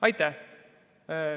Aitäh!